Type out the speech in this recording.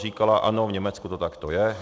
Říkala ano, v Německu to takto je.